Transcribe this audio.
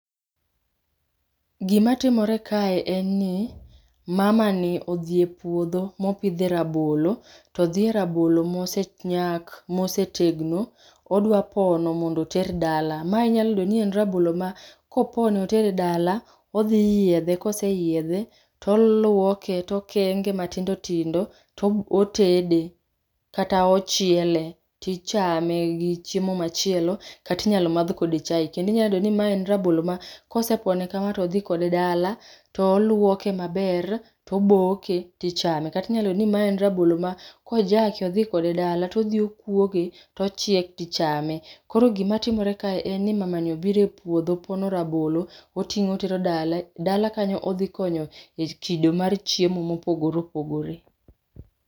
Gima timore kae enni mamani odhie pwodho mopidhe rabolo, todhie rabolo mosenyak, mosetegno odwa pono mondo oter dala. Ma inyalo yudoni en rabolo ma kopone otere dala odhi yiedhe kose yiedhe, tolwoke tokenge matindo tindo to otede kata ochiele, tichame gii chiemo machielo kata inyalo madh kode chae kendo inyalo yudo ni maen rabolo ma kosepone kama to odhi kode dala to olwoke maber to boke tichame. Katinyalo yudo ni maen rabolo ma kojake odhi kode dala to dhio kwoge tochiek tichame. Koro gima timore kae enni mamani obire pwodho pono rabolo oting'o otero dala, dala kanyo odhi konyo e kido mar chiemo mopogore opogore.